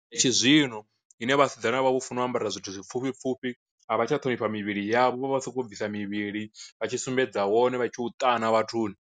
Tshizwino ine vhasidzana vha vho funa u ambara zwithu zwi pfhufhi pfufhi, a vha tsha ṱhonifha mivhili yavho vha soko bvisa mivhili vha tshi sumbedza wone vha tshi u ṱana vhathuni.